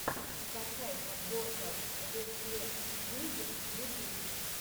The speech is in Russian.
скачай подборка рефлексмьюзик ютуб